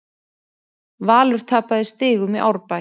Valur tapaði stigum í Árbæ